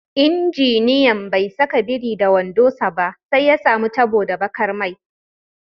Injiniyan bai saka biri da wando sa ba, sai ya samu tabo da bakar mai.